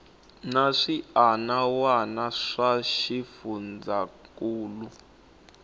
na swiana wana swa xifundzankuluwa